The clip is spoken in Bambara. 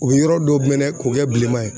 O be yɔrɔ dɔ minɛ k'o kɛ bilenman ye